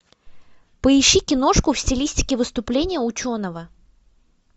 поищи киношку в стилистике выступление ученого